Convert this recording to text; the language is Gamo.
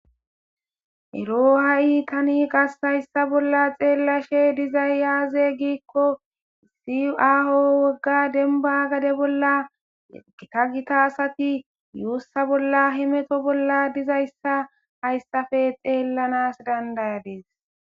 ero ha'i tani qasayssa bolla xeellashe dizay aaze giikko issi aaho wogga denba gade bolla gita gita asati yuussa bolla himeto bolla dizayssa hayssafe xeellanas dandayadis